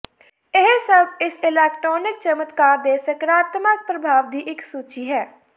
ਇਹ ਸਭ ਇਸ ਇਲੈਕਟ੍ਰਾਨਿਕ ਚਮਤਕਾਰ ਦੇ ਸਕਾਰਾਤਮਕ ਪ੍ਰਭਾਵ ਦੀ ਇੱਕ ਸੂਚੀ ਹੈ